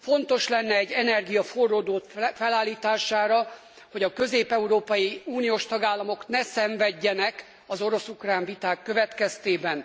Fontos lenne egy energia forródrót felállítására, hogy a közép európai uniós tagállamok ne szenvedjenek az orosz ukrán viták következtében.